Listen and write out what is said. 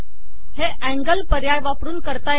हे अँगल पर्याय वापरून करता येते